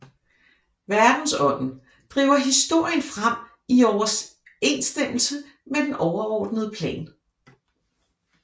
Verdensånden driver historien frem i overensstemmelse med den overordnede plan